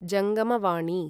जङ्गमवाणी